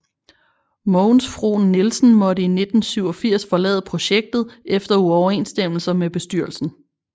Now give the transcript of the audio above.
Mogens Frohn Nielsen måtte i 1987 forlade projektet efter uoverensstemmelser med bestyrelsen